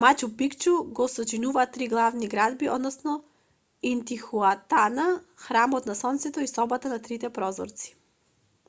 мачу пикчу го сочинуваат три главни градби односно интихуатана храмот на сонцето и собата на трите прозорци